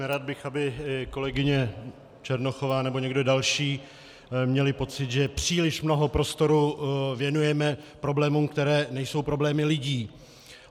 Nerad bych, aby kolegyně Černochová nebo někdo další měli pocit, že příliš mnoho prostoru věnujeme problémům, které nejsou problémy lidí.